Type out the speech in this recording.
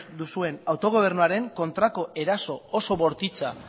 duzuen autogobernuaren kontrako eraso oso bortitza